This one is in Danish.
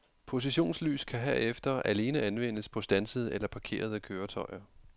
Positionslys kan herefter alene anvendes på standsede eller parkerede køretøjer.